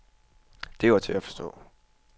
Det var til at forstå.